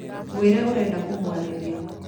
Mwĩre ũrenda kũmwarĩria